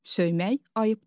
Söymək ayıbdır.